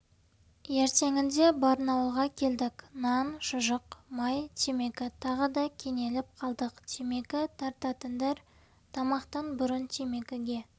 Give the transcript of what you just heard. ертеңінде барнауылға келдік нан шұжық май темекі тағы да кенеліп қалдық темекі тартатындар тамақтан бұрын темекіге